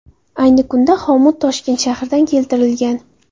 Ayni kunda xomut Toshkent shahridan keltirilgan.